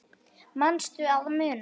Manstu að muna?